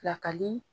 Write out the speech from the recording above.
Pilakali